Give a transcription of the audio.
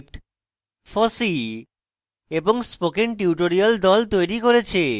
এই script fossee এবং spoken tutorial the তৈরী করেছে